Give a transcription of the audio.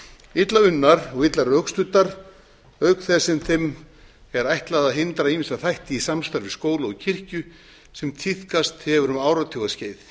illa unnar og illa rökstuddar auk þess sem þeim er ætlað að hindra ýmsa þætti í samstarfi skóla og kirkju sem tíðkast hafa um áratugaskeið